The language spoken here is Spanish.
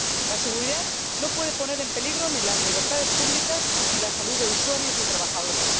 La seguridad no puede poner en peligro ni las libertades públicas ni la salud de usuarios y trabajadores.